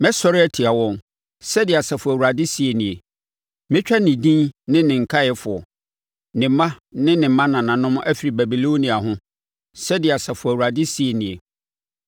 “Mɛsɔre atia wɔn,” Sɛdeɛ Asafo Awurade seɛ nie. “Mɛtwa ne din ne ne nkaeɛfoɔ, ne mma ne mmanananom afiri Babilonia ho,” sɛdeɛ Asafo Awurade seɛ nie.